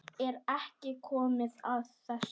Er ekki komið að þessu?